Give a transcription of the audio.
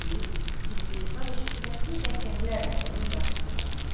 İblis istehza və şiddətli qəhqəhələrlə onun qarşısına çıxar.